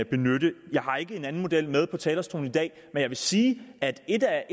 benytte jeg har ikke en anden model med på talerstolen i dag men jeg vil sige at et af